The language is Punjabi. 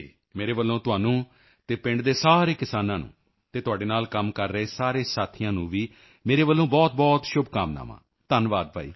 ਮੇਰੇ ਵੱਲੋਂ ਤੁਹਾਨੂੰ ਅਤੇ ਪਿੰਡ ਦੇ ਸਾਰੇ ਕਿਸਾਨਾਂ ਨੂੰ ਅਤੇ ਤੁਹਾਡੇ ਨਾਲ ਕੰਮ ਕਰ ਰਹੇ ਸਾਰੇ ਸਾਥੀਆਂ ਨੂੰ ਵੀ ਮੇਰੇ ਵੱਲੋਂ ਬਹੁਤਬਹੁਤ ਸ਼ੁਭਕਾਮਨਾਵਾਂ ਧੰਨਵਾਦ ਭਾਈ